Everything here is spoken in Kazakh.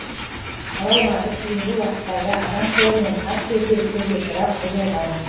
қала аумағы кейінгі уақыттарда адам қолымен қатты өзгерістерге ұшырап бұзылған